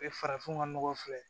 farafin ka nɔgɔ filɛ